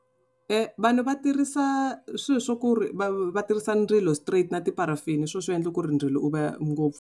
Vanhu va tirhisa swilo swa ku ri va va tirhisa ndzilo straight na tipharafini hi swona swi endlaku ku ri ndzilo u va ngopfu.